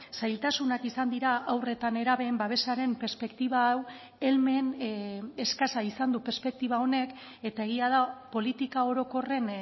zailtasunak izan dira haur eta nerabeen babesaren perspektiba hau helmen eskasa izan du perspektiba honek eta egia da politika orokorren